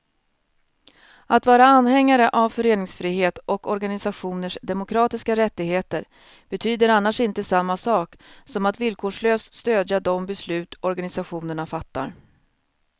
Att vara anhängare av föreningsfrihet och organisationers demokratiska rättigheter betyder annars inte samma sak som att villkorslöst stödja de beslut organisationerna fattar.